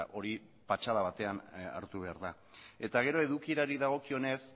hori patxada batean hartu behar da gero edukierari dagokionez